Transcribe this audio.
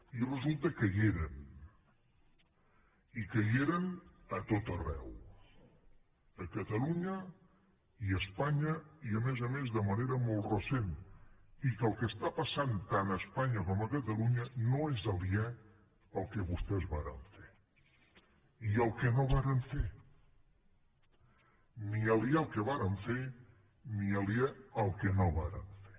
i resulta que hi eren i que hi eren a tot arreu a catalunya i a espanya i a més a més de manera molt recent i que el que està passant tant a espanya com a catalunya no és aliè al que vostès varen fer i al que no varen fer ni aliè al que varen fer ni aliè al que no varen fer